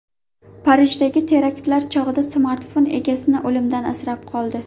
Parijdagi teraktlar chog‘ida smartfon egasini o‘limdan asrab qoldi.